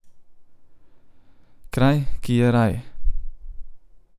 Kraj, ki je raj.